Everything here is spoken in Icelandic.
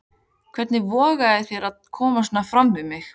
Hvernig vogarðu þér að koma svona fram við mig!